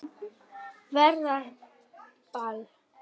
Verður ball?